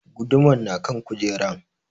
Gudumar na kan kujeran